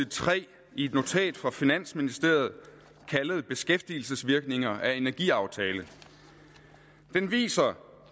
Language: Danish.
tre i et notat fra finansministeriet kaldet beskæftigelsesvirkninger af en energiaftale det viser